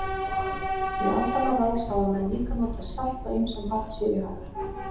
Í aldanna rás hafa menn líka notað salt á ýmsan hátt sér í hag.